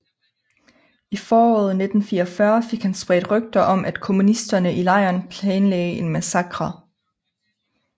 I foråret 1944 fik han spredt rygter om at kommunisterne i lejren planlagde en massakre